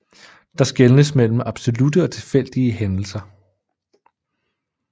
Der skelnes mellem absolutte og tilfældige hændelser